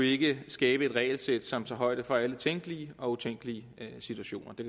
ikke skabe et regelsæt som tager højde for alle tænkelige og utænkelige situationer det